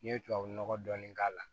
N'i ye tubabu nɔgɔ dɔɔni k'a la